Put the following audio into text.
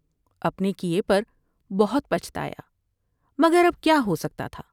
اپنے کیے پر بہت پچھتایا مگر اب کیا ہوسکتا تھا ۔